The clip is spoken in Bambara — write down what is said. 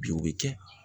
Bi o bi kɛ